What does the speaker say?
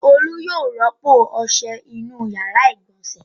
Olu yóò rọ́pò ọṣẹ inú ìyàrá-ìgbọ̀nsẹ̀.